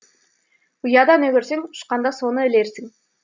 ұяда не көрсең ұшқанда соны ілерсің